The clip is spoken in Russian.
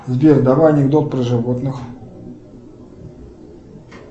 сбер давай анекдот про животных